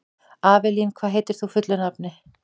Avelín, hvað heitir þú fullu nafni?